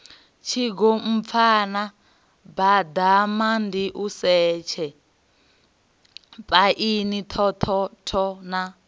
tshigompfana baḓamandiusetshe phaini thothotho na